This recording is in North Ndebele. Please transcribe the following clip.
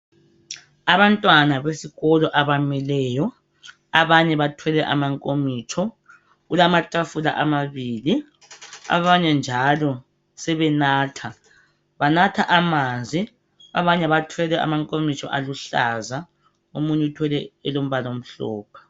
Abantwana besikolo abamileyo, abanye bethwele amankomitsho. Kulathafula amabili, abanye njalo sebenatha. Banatha amanzi. Abanye bathwele amankomitsho oluhlaza, omunye uthwele elombala amhlophe.